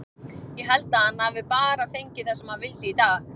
Ég held að hann hafi bara fengið það sem hann vildi í dag.